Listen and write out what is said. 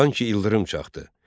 Sanki ildırım çaxdı.